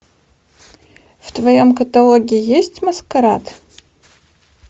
в твоем каталоге есть маскарад